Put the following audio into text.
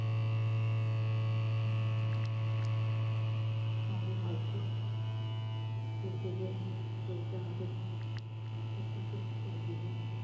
সবই ভাগ্য সেই থেকে চলছে আমাদের টুকটুক টুক টুক করে দিনগুলো